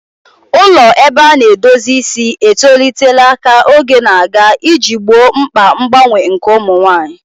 Ụlọ ebe a na-edozi isi etolitela ka oge na-aga iji gboo mkpa mgbanwe nke ụmụ nwanyị.